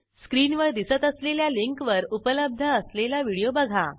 स्क्रीनवर दिसत असलेल्या लिंकवर उपलब्ध असलेला व्हिडिओ बघा